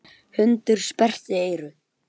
Hundur sperrti eyru.